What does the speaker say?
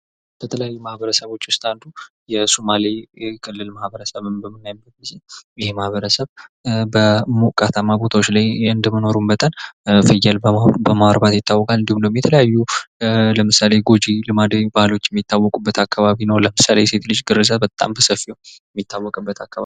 ከተለያዩ ማህበረሰቦች ውስጥ አንዱ የሱማሌ ማበረሰብ ይህ ማህበረሰብ በሞቃትማ አካባቢዎች እንደመኖሩ መጠን ፍየል በማርባት ይታወቃ እንዲሁም ደግሞ የተለያዩ ጎጂ ልማዳዊ ድርጊቶች ባህሎች የሚታወቁበት አካባቢ ነው እና ለምሳሌ የሴት ልጅ ግርዛት ተሰራጭቶ የሚታወቅበት አካባቢ ነው።